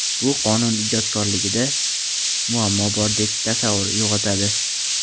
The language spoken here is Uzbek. Bu qonun ijodkorligida muammo bordek tasavvur uyg‘otadi.